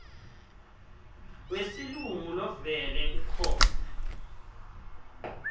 wesilungu lovele ukhona